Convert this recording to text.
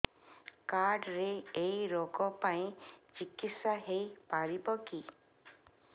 card ରେ ଏଇ ରୋଗ ପାଇଁ ଚିକିତ୍ସା ହେଇପାରିବ କି